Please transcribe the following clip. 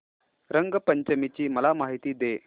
रंग पंचमी ची मला माहिती दे